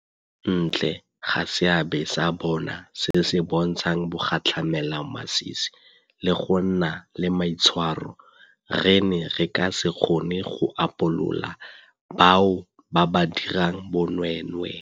Kwa ntle ga seabe sa bona se se bontshang bogatlhamelamasisi le go nna le maitshwaro, re ne re ka se kgone go upolola bao ba dirang bonweenwee.